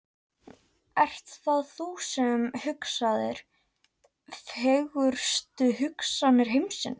Ert það þú sem hugsaðir, fegurstu hugsanir heimsins?